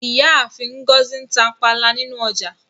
Ìyáàfin Ngozi n tà pànla nínu ọjà.